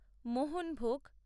মোহনভোগ